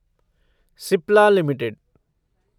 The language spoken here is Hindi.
सिप्ला लिमिटेड